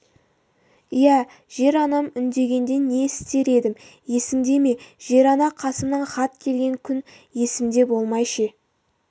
иә жер-анам үндегенде не істер едім есіңде ме жер-ана қасымнан хат келген күн есімде болмай ше